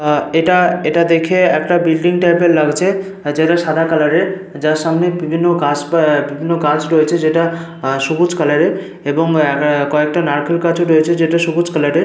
আহ এটা এটা দেখে একটা বিল্ডিং টাইপ এর লাগছে যেটা সাদা কালার এর। যার সামনে বিভিন্ন গাছ আহ বিভিন্ন গাছ রয়েছে। যেটা আহ সবুজ কালার এর এবং কয়েকটা নারকেল গাছ ও রয়েছে যেটা সবুজ কালার এর।